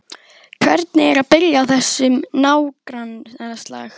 Hvernig er að byrja á þessum nágrannaslag?